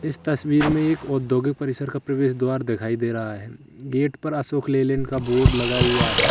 इस तस्वीर में एक औद्योगिक परिसर का प्रवेश द्वार दिखाई दे रहा है गेट पर अशोक लीलैंड का बोर्ड लगा हुआ है।